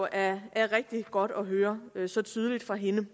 er rigtig godt at høre så tydeligt fra hende